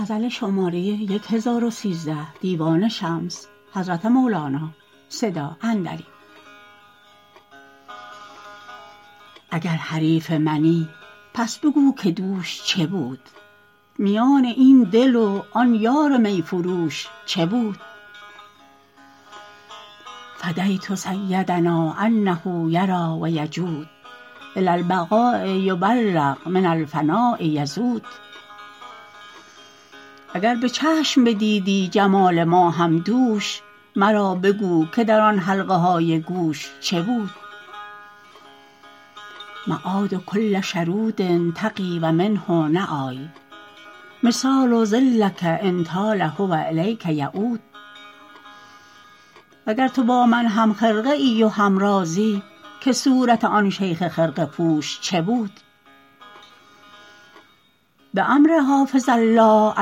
اگر حریف منی پس بگو که دوش چه بود میان این دل و آن یار می فروش چه بود فدیت سیدنا انه یری و یجود الی البقاء یبلغ من الفناء یذود اگر به چشم بدیدی جمال ماهم دوش مرا بگو که در آن حلقه های گوش چه بود معاد کل شرود طغی و منه نی مثال ظلک ان طال هو الیک یعود وگر تو با من هم خرقه ای و همرازی بگو که صورت آن شیخ خرقه پوش چه بود بامر حافظ الله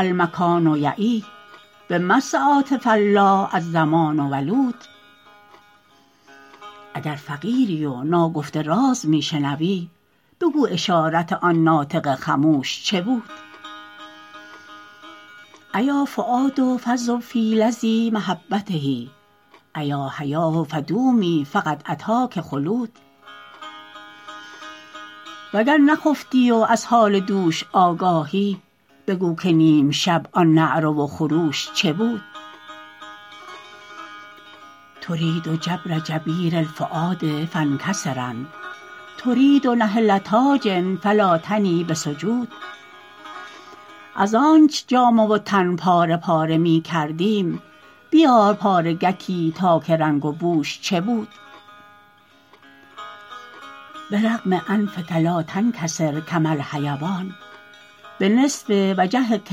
المکان یعی بمس عاطفه الله الزمان ولود اگر فقیری و ناگفته راز می شنوی بگو اشارت آن ناطق خموش چه بود ایا فؤاد فذب فی لظی محبته ایا حیاه فدومی فقد اتاک خلود وگر نخفتی و از حال دوش آگاهی بگو که نیم شب آن نعره و خروش چه بود ترید جبر جبیر الفؤاد فانکسرن ترید نحله تاج فلا تنی به سجود از آنچ جامه و تن پاره پاره می کردیم بیار پارگکی تا که رنگ و بوش چه بود برغم انفک لا تنکسر کما الحیوان به نصف وجهک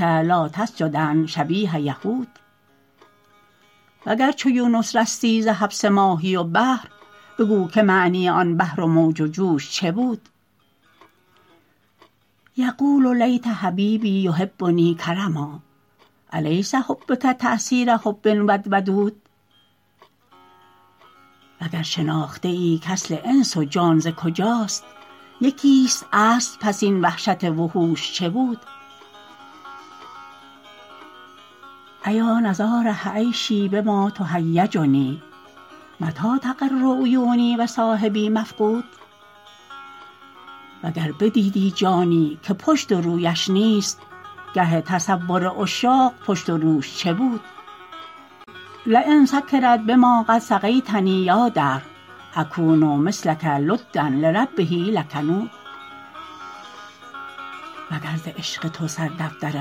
لا تسجدن شبیه یهود وگر چو یونس رستی ز حبس ماهی و بحر بگو که معنی آن بحر و موج و جوش چه بود یقول لیت حبیبی یحبنی کرما الیس حبک تأثیر حب ود ودود وگر شناخته ای کاصل انس و جان ز کجاست یکیست اصل پس این وحشت وحوش چه بود ایا نضاره عیشی بما تهیجنی متی تقر عیونی و صاحبی مفقود وگر بدیدی جانی که پشت و رویش نیست گه تصور عشاق پشت و روش چه بود لین سکرت بما قد سقیتنی یا دهر اکون مثلک لدا لربه لکنود وگر ز عشق تو سردفتر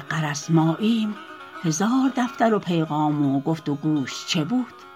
غرض ماییم هزار دفتر و پیغام و گفت و گوش چه بود